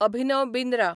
Abhinav Bindra